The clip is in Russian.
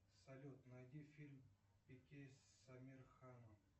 салют найди фильм с амир ханом